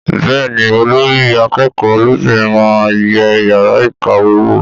Bẹ́ẹ̀ni olórí akẹ́kọ̀ọ́ lóbìnrin máa yẹ yàrá ìkàwé wò